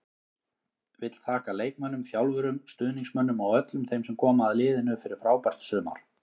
Vill þakka leikmönnum, þjálfurum, stuðningsmönnum og öllum þeim sem koma að liðinu fyrir frábært sumar.